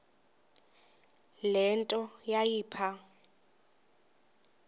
le nto yayipha